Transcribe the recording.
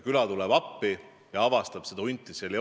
Külarahvas tuli appi ja avastas, et hunti ei ole.